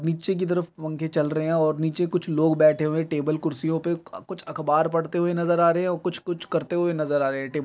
नीचे की तरफ पंखे चल रहै हैं और नीचे कुछ लोग बैठे हुए हैं टेबल कुर्सियो पे अ कु कुछ अख़बार पढ़ते हुए नज़र आ रहे हैं कुछ कुछ करते हुए नज़र आ रहे हैं टेब --